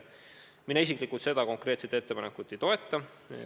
Mina isiklikult seda konkreetset ettepanekut ei toeta.